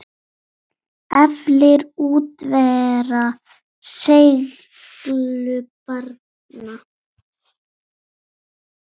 Eflir útivera seiglu barna?